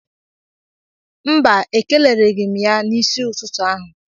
Mba Ekelereghị m ya n'isi ụtụtụ ahụ